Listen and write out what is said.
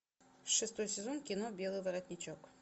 шестой сезон кино белый воротничок